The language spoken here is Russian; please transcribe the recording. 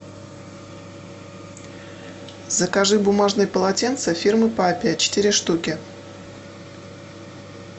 закажи бумажные полотенца фирмы папиа четыре штуки